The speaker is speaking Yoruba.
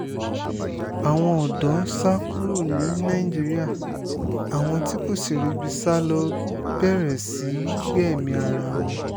àwọn ọ̀dọ́ ń sá kúrò ní nàìjíríà àwọn tí kò sì ríbi sá ló bẹ̀rẹ̀ sí í gbẹ̀mí ara wọn